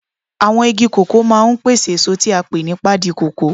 Àwọn igi kòkó máa ń pèsè èso tí a pè ní pádi kòkó.